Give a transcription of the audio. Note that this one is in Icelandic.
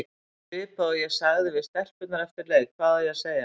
Svipað og ég sagði við stelpurnar eftir leik, hvað á ég að segja?